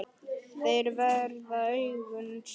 Þeir verða augun í þér.